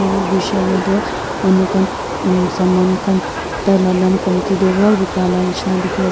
te gushe le toh manu khan umm saman khan taila dam komti te para bika la nishina dikhi ase.